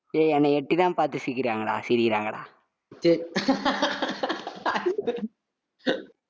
ஏய், என்னை எட்டித்தான் பார்த்து சிரிக்கிறாங்கடா, சிரிக்கிறாங்கடா